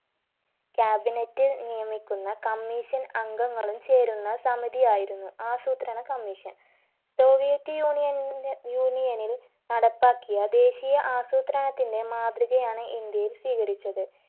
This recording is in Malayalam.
cabinet നിയമിക്കുന്ന commission അംഗങ്ങളും ചേരുന്ന സമിതിയായിരുന്നു ആസൂത്രണ commission soviet union ന്റെ union ൽ നടപ്പാക്കിയ ദേശീയ ആസൂത്രണത്തിന് മാതൃകയാണ് ഇന്ത്യയിൽ സ്വീകരിച്ചത്